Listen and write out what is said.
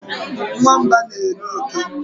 Nwamba na eri oke